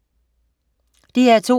DR2: